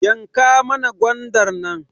Yanka mana gwandar nan